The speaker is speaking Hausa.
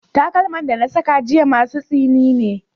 Takalman da na saka jiya masu tsini ne.